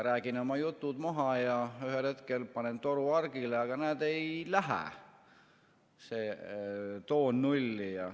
Räägin oma jutud maha ja ühel hetkel panen toru hargile, aga näed, ei lähe see toon nulli.